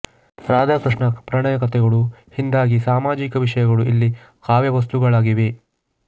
ರಾಧಾಕೃಷ್ಣ ಪ್ರಣಯ ಕಥೆಗಳು ಹಿಂದಾಗಿ ಸಾಮಾಜಿಕ ವಿಷಯಗಳು ಇಲ್ಲಿ ಕಾವ್ಯವಸ್ತುಗಳಾಗಿವೆ